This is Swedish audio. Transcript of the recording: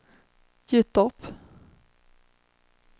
Gyttorp